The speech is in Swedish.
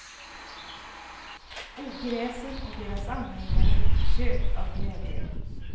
Ogräsen och deras anhängare tjöt av glädje.